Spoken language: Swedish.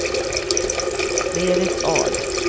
Berit Ahl